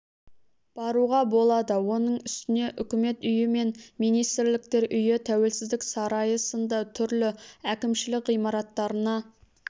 баруға болады оның үстіне үкімет үйі мен министрліктер үйі тәуелсіздік сарайы сынды түрлі әкімшілік ғимараттарына